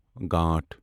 گانٹھ